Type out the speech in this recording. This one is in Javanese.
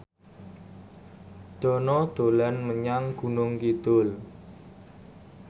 Dono dolan menyang Gunung Kidul